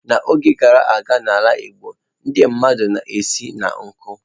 N'oge gara aga n'ala Igbo, ndị mmadụ na-esi n'nku.